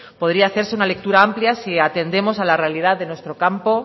podría hacerse una lectura amplia si atendemos a la realidad de nuestro campo